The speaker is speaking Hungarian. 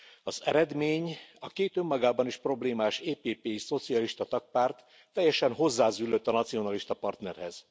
Az eredmény a két, önmagában is problémás EPP és szocialista tagpárt teljesen hozzázüllött a nacionalista partnerhez.